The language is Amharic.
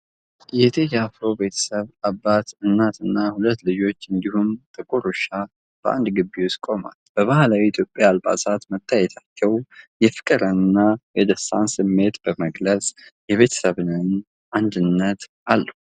የቴዲ አፍሮ ቤተሰብ፣ አባት፣ እናትና ሁለት ልጆች፣ እንዲሁም ጥቁር ውሻ በአንድ ግቢ ውስጥ ቆመዋል። በባህላዊ የኢትዮጵያ አልባሳት መታየታቸው የፍቅርንና የደስታን ስሜት በመግለጽ፣ የቤተሰብን አንድነት አለው።